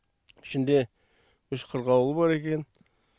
ішінде үш қырғауылы бар екен